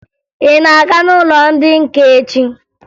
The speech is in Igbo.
Ị na-aga n'ụlọ ndị nka echi?